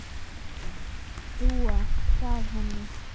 Dúa gaf henni.